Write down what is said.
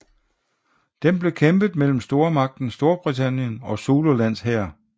Den blev kæmpet mellem stormagten Storbritannien og zululands hær